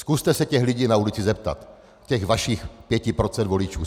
Zkuste se těch lidí na ulici zeptat, těch vašich pěti procent voličů.